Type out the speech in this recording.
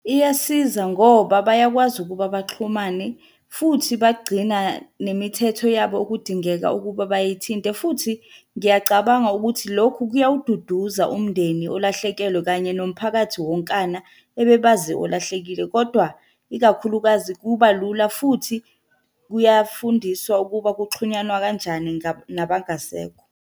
Iyasiza ngoba bayakwazi ukuba baxhumane futhi bagcina nemithetho yabo okudingeka ukuba bayithinte futhi ngiyacabanga ukuthi lokhu kuyawududuza umndeni olahlekelwe kanye nomphakathi wonkana ebebazi ulahlekile, kodwa ikakhulukazi kuba lula futhi kuyafundiswa ukuba kuxhunyanwa kanjani nabangasekho.